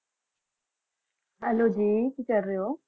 hello ਜੀ ਕਸੀ ਹੋ